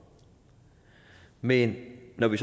men når vi